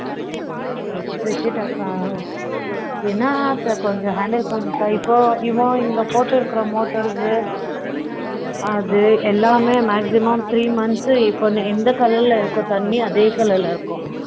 விட்டுட்ட அக்கா என்ன அதை கொஞ்சம் handle பண்ணனும்இப்போ இவன் இங்க போட்டு இருக்கிற motors அது எல்லாமே maximum three months இப்ப எந்த colour ல எஇருக்குதோ தண்ணி அதே colour ல இருக்கும்